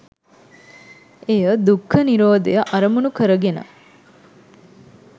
එය දුක්ඛ නිරෝධය අරමුණු කර ගෙන